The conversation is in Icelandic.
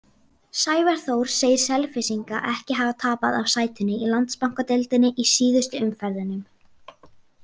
Sævar Þór segir Selfyssinga ekki hafa tapað af sætinu í Landsbankadeildinni í síðustu umferðunum.